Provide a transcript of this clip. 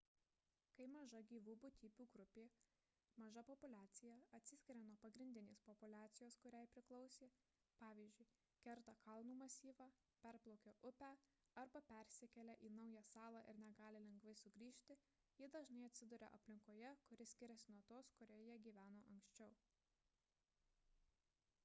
kai maža gyvų būtybių grupė maža populiacija atsiskiria nuo pagrindinės populiacijos kuriai priklausė pvz. kerta kalnų masyvą perplaukia upę arba persikelia į naują salą ir negali lengvai sugrįžti ji dažnai atsiduria aplinkoje kuri skiriasi nuo tos kurioje jie gyveno anksčiau